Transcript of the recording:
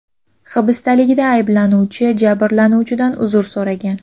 Hibsdaligida ayblanuvchi jabrlanuvchilardan uzr so‘ragan.